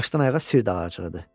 Başdan ayağa sir dağarcığıdır.